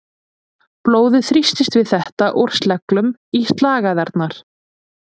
Blóðið þrýstist við þetta úr sleglum í slagæðarnar.